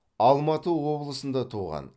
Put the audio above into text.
алматы облысында туған